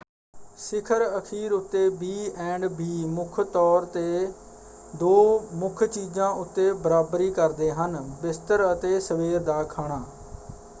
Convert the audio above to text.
ਸਿਖਰ ਅਖੀਰ ਉੱਤੇ ਬੀ ਐਂਡ ਬੀ ਮੁੱਖ ਤੌਰ 'ਤੇ ਦੋ ਮੁੱਖ ਚੀਜ਼ਾਂ ਉੱਤੇ ਬਰਾਬਰੀ ਕਰਦੇ ਹਨ: ਬਿਸਤਰ ਅਤੇ ਸਵੇਰ ਦਾ ਖਾਣਾ।